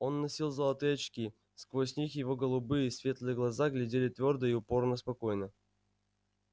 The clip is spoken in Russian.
он носил золотые очки сквозь них его голубые светлые глаза глядели твёрдо и упорно-спокойно